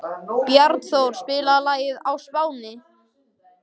Bjarnþór, spilaðu lagið „Á Spáni“.